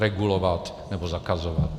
Regulovat, nebo zakazovat.